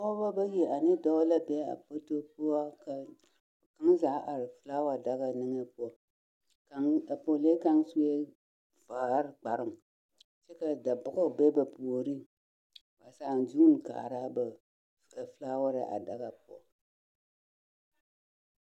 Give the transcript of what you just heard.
Pɔgeba bayi ane dɔɔ la be foto poɔ ka ,,, zaa are daga niŋe poɔ. A pɔgelee kaŋ sue vaare kparoŋ kyɛ ka dabɔge be ba puoriŋ. Ba zaaŋ zuuni kaara a ba felaaware a daga poɔ.